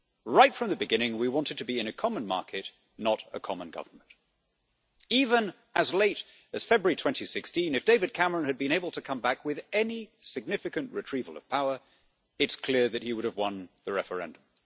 Right from the beginning we wanted to be in a common market, not a common government. Even as late as February 2016, if David Cameron had been able to come back with any significant retrieval of power, it is clear that he would have won the referendum.